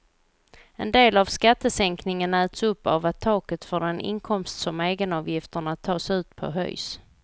En del av skattesänkningen äts upp av att taket för den inkomst som egenavgifterna tas ut på höjs.